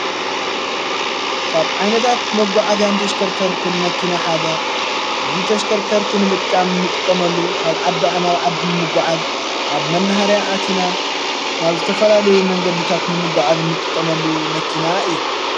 ካብ ዓይነታት መጕዓዝ ያንተሽከርከርትን መኪና ሓደ እዙይ ተሽከርከርቲ ንምጥቃም እንጥቆመሉ ካብ ዓዳዓ ናብ ዓዲ ንምጕዓዝ ኣብ መንህርያ ኣቲና ናብ ዝተፈላለዩ መንገድታት ንምጕዓዝ እንጥቆመሉ መኪና እያ።